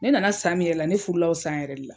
Ne nana san min yɛrɛ la ne furula o san yɛrɛ de la.